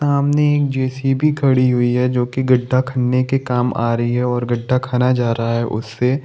सामने जे.सी.बी. खड़ीं हुई है जोकि गड्ढा करने के काम आ रही है और गड्ढा खना जा रहा है उससे।